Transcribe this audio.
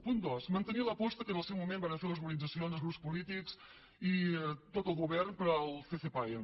punt dos mantenir l’aposta que en el seu moment varen fer les organitzacions els grups polítics i tot el govern per al ccpae